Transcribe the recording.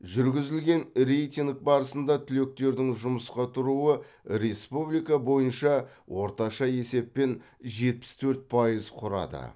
жүргізілген рейтинг барысында түлектердің жұмысқа тұруы республика бойынша орташа есеппен жетпіс төрт пайыз құрады